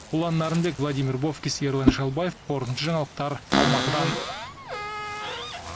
ұлан нарынбек владимир бовкис ерлан шалбаев қорытынды жаңалықтар алматыдан